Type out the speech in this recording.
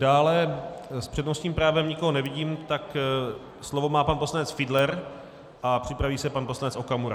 Dále s přednostním právem nikoho nevidím, tak slovo má pan poslanec Fiedler a připraví se pan poslanec Okamura.